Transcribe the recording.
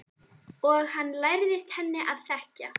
Og hann lærðist henni að þekkja.